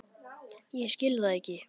Ég skil það ekki!